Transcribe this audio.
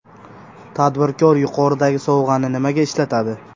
Tadbirkor yuqoridagi sovg‘ani nimaga ishlatadi?